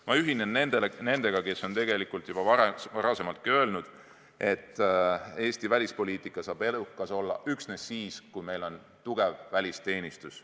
Ma ühinen nendega, kes on juba varem öelnud, et Eesti välispoliitika saab edukas olla üksnes siis, kui meil on tugev välisteenistus.